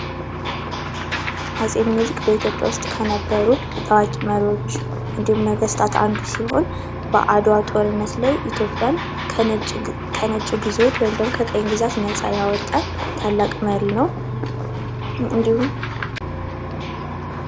አጼ ሚኒሊክ በኢትዮጵያ ውስጥ ከነበሩ ታዋቂ መሪዎች እንዲሁም ደግሞ ነገስታት አንዱ ሲሆን አድዋ ጦርነት ላይ ኢትዮጵያን ከነጭ ግዞት ወይም ደግሞ ከቀይ ግዛት ነፃ ያወጣ ታላቅ መሪ ነው ። እንዲሁም